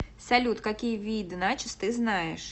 салют какие виды начос ты знаешь